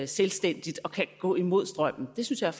selvstændigt og kan gå imod strømmen det synes jeg